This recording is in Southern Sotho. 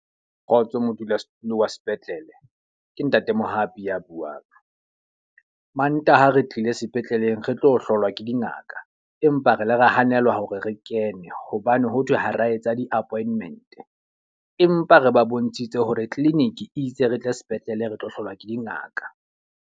Kgotso modulasetulo wa sepetlele. Ke ntate Mohapi a buang. Mantaha re tlile sepetleleng re tlo hlolwa ke dingaka, empa re ile ra hanelwa hore re kene hobane ho thwe ha ra etsa di-appointment. Empa re ba bontshitse hore clinic itse re tle sepetlele re tlo hlolwa ke dingaka.